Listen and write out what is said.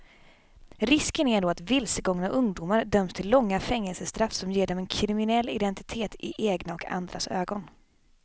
Risken är då att vilsegångna ungdomar döms till långa fängelsestraff som ger dem en kriminell identitet i egna och andras ögon.